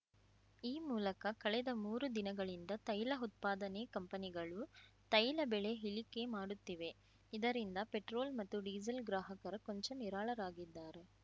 ಈ ಮೂಲಕ ಕಳೆದ ಮೂರು ದಿನಗಳಿಂದ ತೈಲ ಉತ್ಪಾದನೆ ಕಂಪನಿಗಳು ತೈಲ ಬೆಳೆ ಇಳಿಕೆ ಮಾಡುತ್ತಿವೆ ಇದರಿಂದ ಪೆಟ್ರೋಲ್‌ ಮತ್ತು ಡೀಸೆಲ್‌ ಗ್ರಾಹಕರು ಕೊಂಚ ನಿರಾಳರಾಗಿದ್ದಾರೆ